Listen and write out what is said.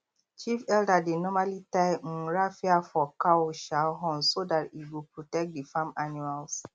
chief elder dey normally tie um raffia for cow um horns so that e go protect the farm animals